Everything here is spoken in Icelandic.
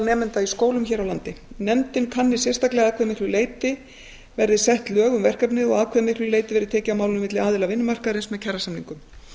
nemenda í skólum hér á landi nefndin kanni sérstaklega að hve miklu leyti verði sett lög um verkefnið og að hve miklu leyti verði tekið á málinu milli aðila vinnumarkaðarins með kjarasamningum